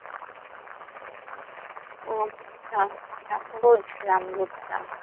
আচ্ছা আচ্ছা বুঝলাম বুঝলাম।